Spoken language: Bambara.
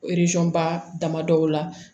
ba damadɔ la